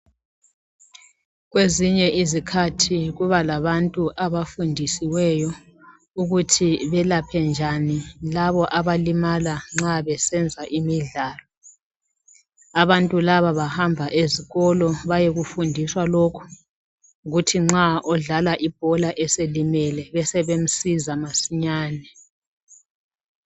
Kwezinye izikhathi kubalabantu abafundisiweyo ukuthi belaphe njani labo abalimala nxa besenza imidlalo. Abantu laba bahamba ezikolo bayekufundiswa lokhu kuthi nxa odlala ibhola eselimele besebemsiza masinyane.